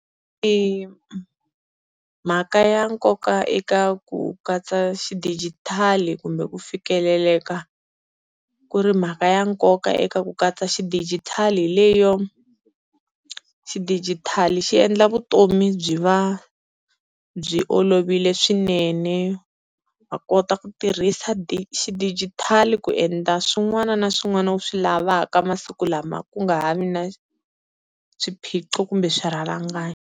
I mhaka ya nkoka eka ku katsa xidijitali kumbe ku fikeleleka ku ri mhaka ya nkoka eka ku katsa xidijitali leyo, xidigitali xi endla vutomi byi va byi olovile swinene, va kota ku tirhisa xidijitali ku endla swin'wana na swin'wana u swi lavaka masiku lama ku nga ha vi na swiphiqo kumbe swirhalanganyi.